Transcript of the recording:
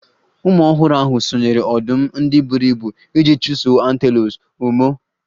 Ụmụ ọhụrụ ahụ sonyeere ọdụm ndị buru ibu iji chụsoo antelopes. Ụmụ ọh